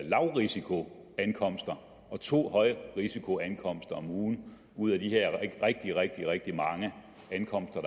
lavrisikoankomster og to højrisikoankomster om ugen ud af de her rigtig rigtig mange ankomster